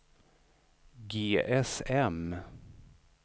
GSM